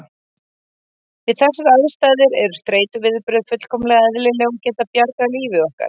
Við þessar aðstæður eru streituviðbrögð fullkomlega eðlileg og geta bjargað lífi okkar.